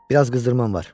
Biraz qızdırman var.